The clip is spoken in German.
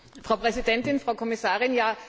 Frau Präsidentin, Frau Kommissarin!